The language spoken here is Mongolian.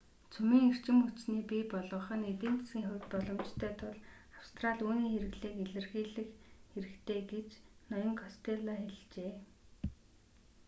цөмийн эрчим хүчний бий болгох нь эдийн засгийн хувьд боломжтой тул австрали үүний хэрэглээг эрэлхийлэх хэрэгтэй гэж ноён костелло хэлжээ